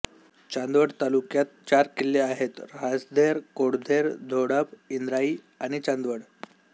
चांदवड तालुक्यात चार किल्ले आहेत राजधेर कोळधेर धोडप इंद्राई आणि चांदवड